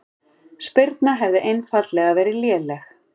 Spyrnan hefði einfaldlega verið léleg